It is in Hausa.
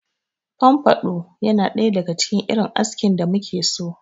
Fomfado yana ɗaya daga cikin irin askin da muke so.